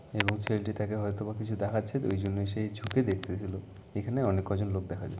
এবং ছেলেটি তাকে হয়তো বা কিছু দেখাচ্ছে ওইজন্য সেই ঝুঁকে দেখতে ছিলো। এখানে অনেক কজন লোক দেখা যায়।